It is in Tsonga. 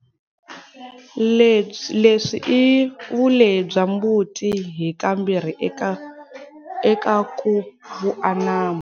Leswi i vulehi bya mbuti hi ka mbirhi eka ku vuanamo.